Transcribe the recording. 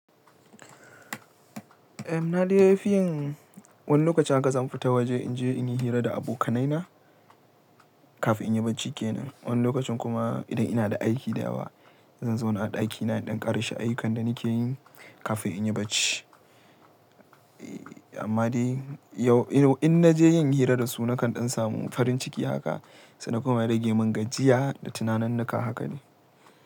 Eh, na dai fi yin wani lokacin haka zan fita waje in je in yi hira da abokanaina kafin in yi bacci kenan. Wani lokacin kuma idan ina da aiki da yawa zan zauna a ɗakina in dan ƙarashe ayyukan da nake yi kafin in yi bacci. Eh, amma dai yau in naje yin hira da su nakan ɗan samu farin ciki haka. Sannan kuma ya rage mun gajiya da tunaninnika haka ne.